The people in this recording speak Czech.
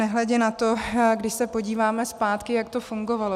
Nehledě na to, když se podíváme zpátky, jak to fungovalo.